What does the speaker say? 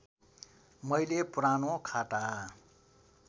मैले पुरानो खाता